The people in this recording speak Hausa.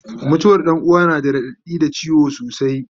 mutuwar Ɗan uwa na da raɗaɗi da ciwo sosai